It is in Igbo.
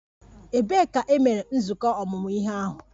Ebee ka e mere nzukọ ọmụmụ ihe ahụ?